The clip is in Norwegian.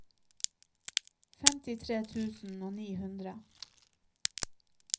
femtitre tusen og ni hundre